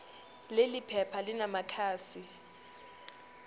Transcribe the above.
leli phepha linamakhasi